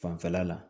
Fanfɛla la